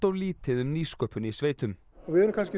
lítið um nýsköpun í sveitum og við erum kannski